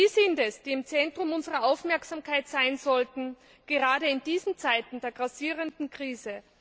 Sie sind es, die im Zentrum unserer Aufmerksamkeit stehen sollten gerade in diesen Zeiten der grassierenden Krise.